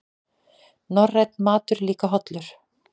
Norrænn matur líka hollur